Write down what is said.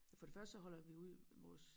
For det første så holder ud vores